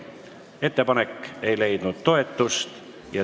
Ettepanek ei leidnud toetust.